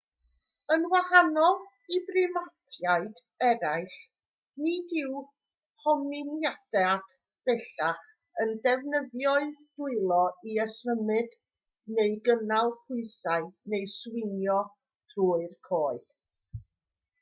yn wahanol i brimatiaid eraill nid yw hominidiaid bellach yn defnyddio'u dwylo i ymsymud neu gynnal pwysau neu swingio trwy'r coed